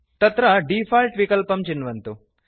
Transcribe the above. तत्र डिफॉल्ट् विकल्पं चिन्वन्तु